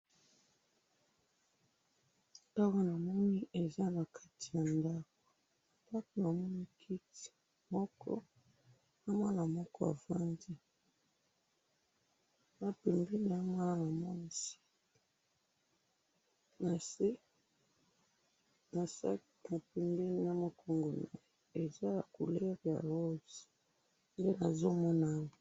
Na moni mwana afandi na kiti na sac ya motane pembeni na ye.